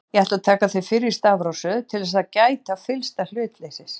Ég ætla að taka þau fyrir í stafrófsröð til þess að gæta fyllsta hlutleysis.